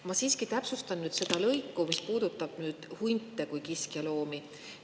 Ma siiski täpsustan nüüd seda, mis puudutab hunte kui kiskjaloomi.